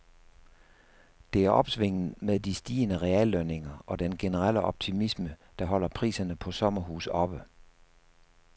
Det er opsvinget med de stigende reallønninger og den generelle optimisme, der holder priserne på sommerhuse oppe.